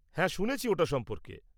হ্যাঁ শুনেছি ওটা সম্পর্কে।